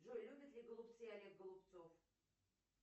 джой любит ли голубцы олег голубцов